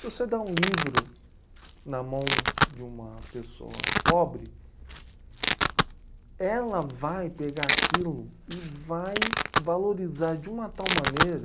Se você dá um livro na mão de uma pessoa pobre, ela vai pegar aquilo e vai valorizar de uma tal maneira